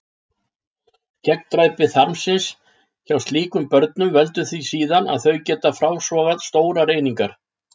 Gegndræpi þarmsins hjá slíkum börnum veldur því síðan að þau geta frásogað stórar einingar.